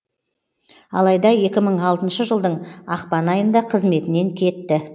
алайда екі мың алтыншы жылдың ақпан айында қызметінен кетті